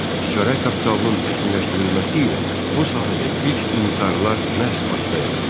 Ticarət kapitalının təkmilləşdirilməsi ilə bu sahədə ilk intisarlar məhz Bakıda yarandı.